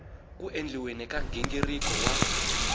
ku endliweni ka nghingiriko wa